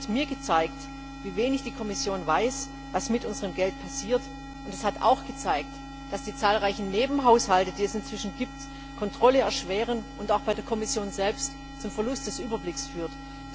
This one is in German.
Kosloduj hat mir gezeigt, wie wenig die Kommission weiß, was mit unserem Geld passiert, und es hat auch gezeigt, dass die zahlreichen Nebenhaushalte, die es inzwischen gibt, die Kontrolle erschweren und auch bei der Kommission selbst zum Verlust des Überblicks führen.